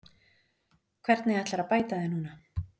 Hvernig ætlarðu að bæta þig núna?